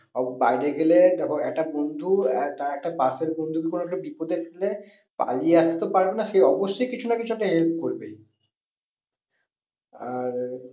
বাইরে গেলে দেখো একটা বন্ধু তার একটা পাশের বন্ধুকে কোনো একটা বিপদে ফেলে পালিয়ে আসতে তো পারবে না সে অবশ্যই কিছু না কিছু একটা help করবে। আর